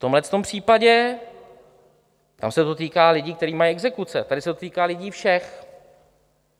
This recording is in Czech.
V tomhle případě - tam se to týká lidí, kteří mají exekuce - tady se to týká lidí všech.